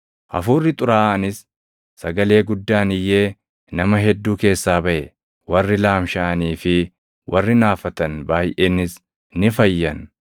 Hafuurri xuraaʼaanis sagalee guddaan iyyee nama hedduu keessaa baʼe; warri laamshaʼanii fi warri naafatan baayʼeenis ni fayyan.